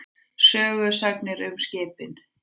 Sögusagnir um skipin.